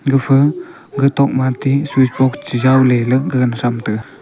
gafa gatok switch box che jow ley gagan tham tega.